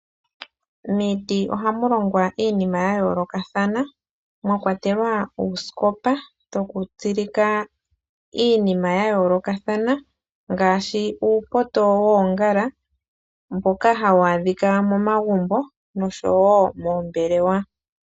Miiti ohamu longwa iinima yayoolokathana mwakwatelwa uusikopa woku tsilika iinima ya yoolokathana ngaashi uupoto woongala mboka hawu adhika momagumbo oshowo moombelewa.